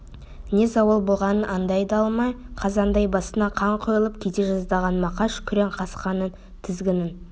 не зауал болғанын аңдай да алмай қазандай басына қан құйылып кете жаздаған мақаш күрең қасқаның тізгінін